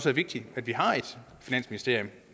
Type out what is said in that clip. er vigtigt at vi har et finansministerium